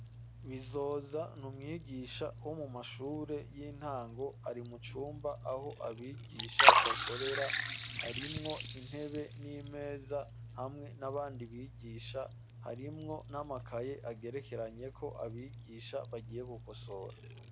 Bizoza n'umwigisha wo mu mashure y'intango ari mu cumba aho abigisha bakorera harimwo intebe n'imeza hamwe n'abandi bigisha harimwo n'amakaye agerekeranyeko abigisha bagiye gukosora.